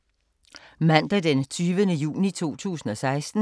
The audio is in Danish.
Mandag d. 20. juni 2016